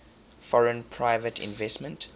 foreign private investment